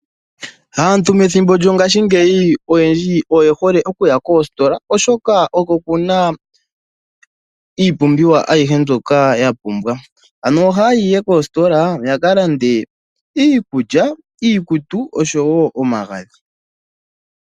Aantu methimbo lyongashingeyi oyendji oye hole okuya koositola oshoka oko kuna iipumbiwa ayihe mbyoka ya pumbwa ano ohaya yi ihe koositola yakalande iikulya, iikutu osho wo omagadhi.